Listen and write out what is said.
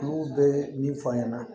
Olu bɛ min fɔ an ɲɛna